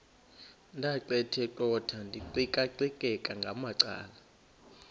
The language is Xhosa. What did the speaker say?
ndaqetheqotha ndiqikaqikeka ngamacala